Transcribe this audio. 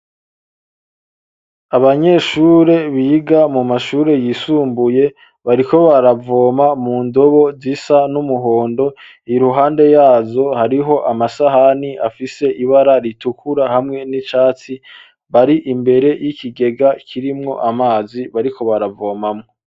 Abanyeshure biga mu mashure yisumbuye, bariko baravoma mu ndobo zisa n'umuhondo, iruhande yazo hariho amasahani afise ibara ritukura hamwe n'icatsi, bari imbere y'ikigega kirimwo amazi bariko baravomamwo.